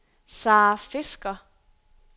Sara Fisker